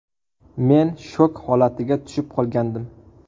Men shok holatiga tushib qolgandim.